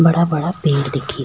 बड़ा बड़ा पेड़ दिख --